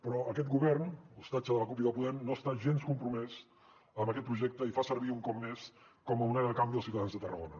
però aquest govern hostatge de la cup i de podem no està gens compromès amb aquest projecte i fa servir un cop més com a moneda de canvi els ciutadans de tarragona